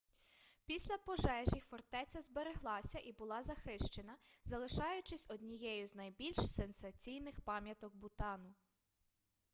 після пожежі фортеця збереглася і була захищена залишаючись однією з найбільш сенсаційних пам'яток бутану